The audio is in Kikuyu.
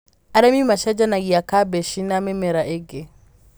Arĩmi macenjanagia kabeci na mĩmera ĩngĩ.